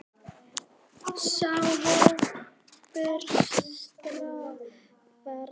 Sá hópur starfar enn.